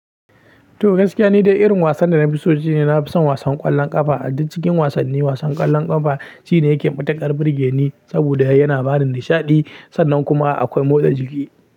To gaskiya nidai, irin wasan da na fi so shi ne na fi son wasan ƙwallon ƙafa. A duk cikin wasanni wasan ƙwallon ƙafa shi ne yake matuƙar burge ni saboda yana bada nishaɗi sannan kuma akwai motsa jiki.